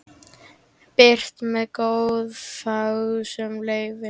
Birt með góðfúslegu leyfi.